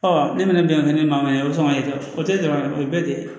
ne fana bɛ ni mankan bɛ sɔn ka jɔ o tɛ dɔrɔn o ye bɛɛ de ye